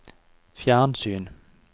fjernsyn